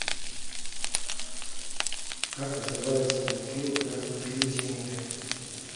как называется мультфильм про привидения